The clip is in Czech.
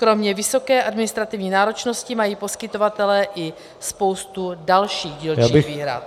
Kromě vysoké administrativní náročnosti mají poskytovatelé i spoustu dalších dílčích výhrad.